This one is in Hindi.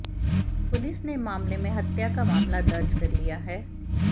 पुलिस ने मामले में हत्या का मामला दर्ज कर लिया है